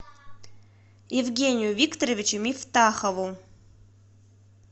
евгению викторовичу мифтахову